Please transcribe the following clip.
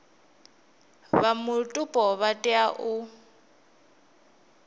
vha mupo vha tea u